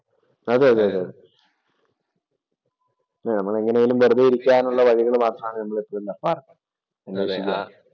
അതെയതെ അതേ. നമ്മൾ എങ്ങനെയെങ്കിലും വെറുതെ ഇരിക്കാനുള്ള വഴികൾ മാത്രമാണ്